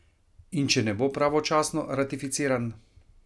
In če ne bo pravočasno ratificiran?